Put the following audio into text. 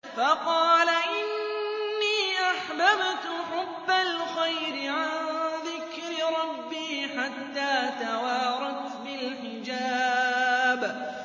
فَقَالَ إِنِّي أَحْبَبْتُ حُبَّ الْخَيْرِ عَن ذِكْرِ رَبِّي حَتَّىٰ تَوَارَتْ بِالْحِجَابِ